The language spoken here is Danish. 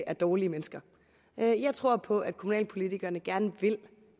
er dårlige mennesker jeg jeg tror på at kommunalpolitikerne gerne vil